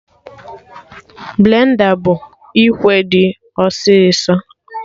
Blenda bụ ikwe dị ọsị ọsọ